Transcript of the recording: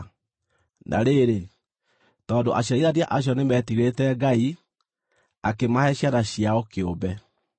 Na rĩrĩ, tondũ aciarithania acio nĩmetigĩrĩte Ngai, akĩmahe ciana ciao kĩũmbe.